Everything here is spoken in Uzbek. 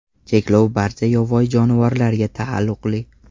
Cheklov barcha yovvoyi jonivorlarga taalluqli.